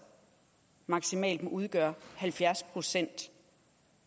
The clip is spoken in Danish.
maksimalt må udgøre halvfjerds procent